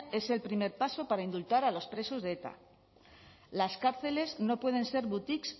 es el primer paso para indultar a los presos de eta las cárceles no pueden ser boutiques